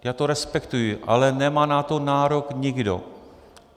Já to respektuji, ale nemá na to nárok nikdo.